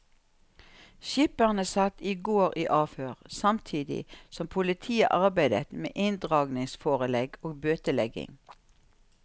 Skipperne satt i går i avhør, samtidig som politiet arbeidet med inndragningsforelegg og bøtelegging.